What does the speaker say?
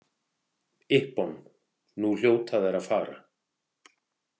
Ippon, nú hljóta þær að fara.